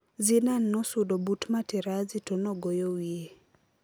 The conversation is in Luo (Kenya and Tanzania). Zidan nosudo but Materazzi to nogoyo wiye